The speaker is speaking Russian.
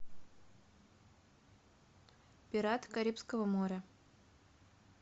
пираты карибского моря